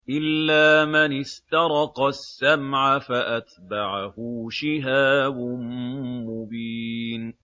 إِلَّا مَنِ اسْتَرَقَ السَّمْعَ فَأَتْبَعَهُ شِهَابٌ مُّبِينٌ